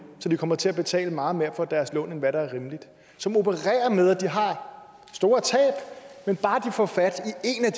så de kommer til at betale meget mere for deres lån end hvad der er rimeligt som opererer med at de har store tab men bare de får fat